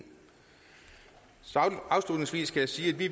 afslutningsvis skal jeg sige at vi